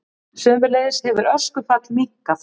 Sömuleiðis hefur öskufall minnkað